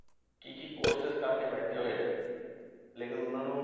ਕੀ ਕੀ courses ਕਰਕੇ ਬੈਠੇ ਹੋਏ ਆ, ਲੇਕਿੰਨ ਉਹਨਾਂ ਨੂੰ